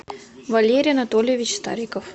валерий анатольевич стариков